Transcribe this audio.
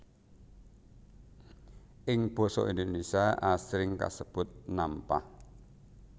Ing basa Indonésia asring kasebut nampah